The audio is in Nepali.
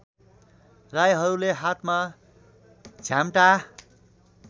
राईहरूले हातमा झ्याम्टा